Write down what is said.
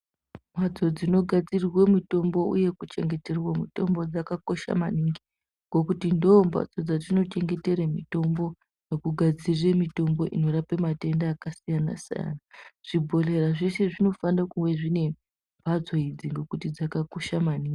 Mbatso dzinogadzirwa mitombo uye kuchengeterwa mutombo dzakakosha maningi ngokuti ndoo mbatso dzatinochengetera mitombo nekugadzirira mitombo inorape matenda akasiyanasiyana zvibhedhlera zveshe zvinofanire kuwe zvine mbatso idzi ngekuti dzakakosha maningi .